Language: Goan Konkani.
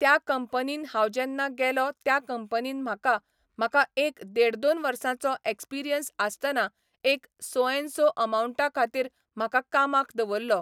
त्या कंपनीन हांव जेन्ना गेलो त्या कंपनीन म्हाका, म्हाका एक देड दोन वर्सांचो एक्सपिरियन्स आसताना एक सो एन सो अमावण्टा खातीर म्हाका कामाक दवरल्लो.